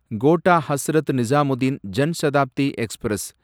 quota Hazrat Nizamuddin Jan Shatabdi express